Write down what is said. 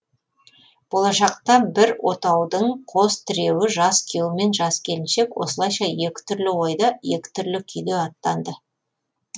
болашақ бір отаудын қос тіреуі жас күйеу мен жас келіншек осылайша екі түрлі ойда екі түрлі күйде аттанды